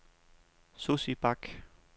Sussi Bak